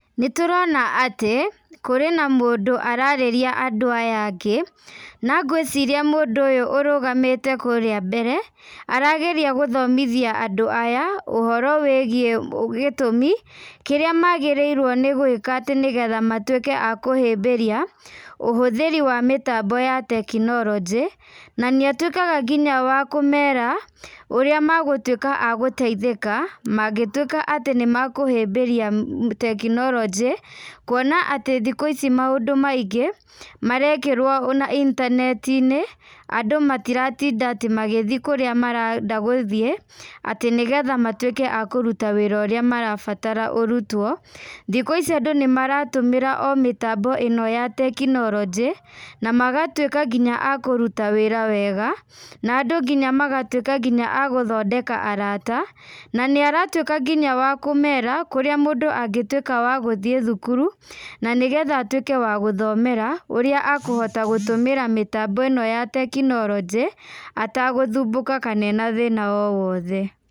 Nĩ tũrona atĩ, kũrĩ na mũndũ ararĩria andũ aya angĩ, na ngwĩciria mũndũ ũyũ ũrũgamĩte kũrĩa mbere, arageria gũthomithia andũ aya, ũhoro wĩgiĩ gĩtũmi, kĩrĩa magĩrĩirwo nĩ gwĩka, atĩ nĩgetha matuĩke a kũhĩmbĩria, ũhũthĩri wa mĩtambo ya tekinoronjĩ, na nĩ atuĩkaga nginya wa kũmera, ũrĩa megũtuĩka agũtaithĩka, mangĩtuĩka atĩ nĩmekũhĩmbĩria tekinoronjĩ, kuona atĩ thikũ ici maũndũ maingĩ, marekĩrwo intaneti-inĩ, andũ matiratinda atĩ magĩthiĩ kũrĩa marenda gũthiĩ, atĩ nĩgetha matuĩke a kũruta wĩra ũrĩa marabatara ũrutwo. Thikũ ici andũ nĩ maratũmĩra o mĩtambo ĩno ya tekinoronjĩ, na magatuĩka nginya a kũruta wĩra wega, na andũ nginya magatuĩka nginya a gũthondeka arata, na nĩaratuĩka nginya wa kũmera, kũrĩa mũndũ angĩtuĩka wa gũthiĩ thukuru, na nĩgetha atuĩke wa gũthomera, ũrĩa akũhota gũtũmĩra mĩtambo ĩno ya tekinoronjĩ, atagũthumbũka kana ena thĩna owothe.